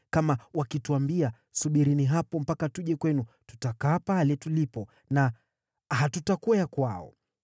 Kama wakituambia, ‘Subirini hapo mpaka tuje kwenu,’ tutakaa pale tulipo na hatutakwea kwao.